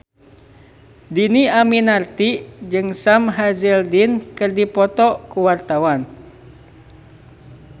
Dhini Aminarti jeung Sam Hazeldine keur dipoto ku wartawan